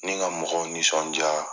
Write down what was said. N'i ka mɔgɔw nisɔndiya